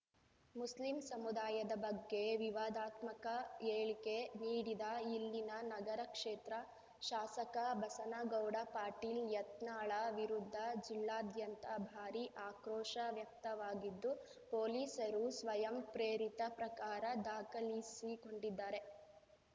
Muslim ಸಮುದಾಯದ ಬಗ್ಗೆ ವಿವಾದಾತ್ಮಕ ಹೇಳಿಕೆ ನೀಡಿದ ಇಲ್ಲಿನ ನಗರ ಕ್ಷೇತ್ರ ಶಾಸಕ ಬಸನಗೌಡ ಪಾಟೀಲ್ ಯತ್ನಾಳ ವಿರುದ್ಧ ಜಿಲ್ಲಾದ್ಯಂತ ಭಾರಿ ಆಕ್ರೋಶ ವ್ಯಕ್ತವಾಗಿದ್ದು ಪೊಲೀಸರು ಸ್ವಯಂ ಪ್ರೇರಿತ ಪ್ರಕರ ದಾಖಲಿಸಿಕೊಂಡಿದ್ದಾರೆ